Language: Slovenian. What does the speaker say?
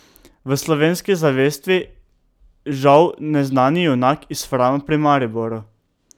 V slovenski zavesti žal neznani junak iz Frama pri Mariboru.